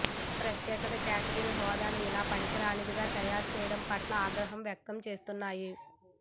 తమ ప్రత్యేక కేటగిరీ హోదాను ఇలా పనికిరానిదిగా తయారుచేయడం పట్ల ఆగ్రహం వ్యక్తం చేస్తున్నాయి